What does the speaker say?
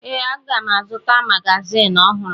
Ee, aga m azụta magazin ọhụrụ